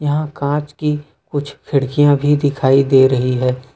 यहां कांच की कुछ खिड़कियां भी दिखाई दे रही हैं।